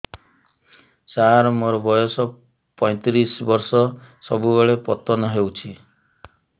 ସାର ମୋର ବୟସ ପୈତିରିଶ ବର୍ଷ ସବୁବେଳେ ପତନ ହେଉଛି